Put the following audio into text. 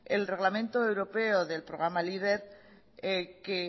el reglamento europeo del programa leader que